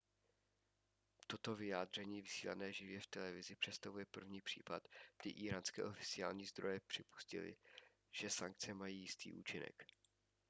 toto vyjádření vysílané živě v televizi představuje první případ kdy íránské oficiální zdroje připustily že sankce mají jistý účinek